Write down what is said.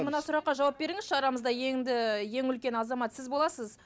мына сұраққа жауап беріңізші арамызда енді ең үлкен азамат сіз боласыз